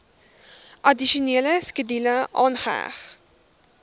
addisionele skedule aangeheg